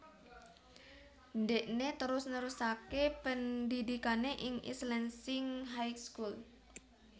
Ndhekné terus nerusaké pendhidhikané ing East Lansing High School